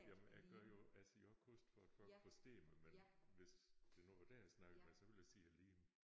Jamen jeg gør jo jeg siger også kost for at folk forstår mig men hvis det nu var dig jeg snakkede med så ville jeg sige æ liem